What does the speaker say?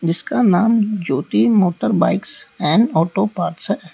इसका नाम Jyoti motor bikes and auto parts है।